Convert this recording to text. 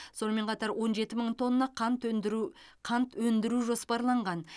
сонымен қатар он жеті мың қант өндіру қант өндіру жоспарланған